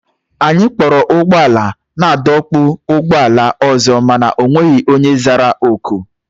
Anyị kpọrọ ụgbọala naadọkpụ ụgbọala ọzọ mana o nweghị onye zara oku.